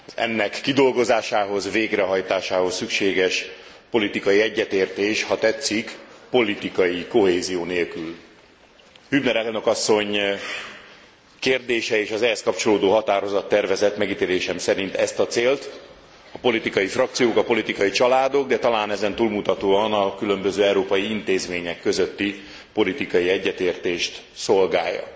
Ennek kidolgozásához, végrehajtásához szükséges politikai egyetértés, ha tetszik, politikai kohézió nélkül Hübner elnök asszony kérdései és az ehhez kapcsolódó határozattervezet megítélésem szerint ezt, a célt a politikai frakciók, a politikai családok, de talán ezen túlmutatóan a különböző európai intézmények közötti politikai egyetértést szolgálja.